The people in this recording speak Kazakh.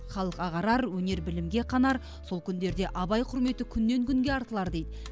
халық ағарар өнер білімге қанар сол күндерде абай құрметі күннен күнге артылар дейді